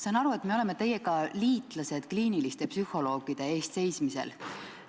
Saan aru, et me oleme teiega liitlased kliiniliste psühholoogide eest seismisel.